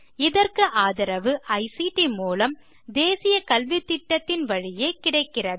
இதற்கு ஆதரவு ஐசிடி மூலம் தேசிய கல்வித்திட்டத்தின் வழியே கிடைக்கிறது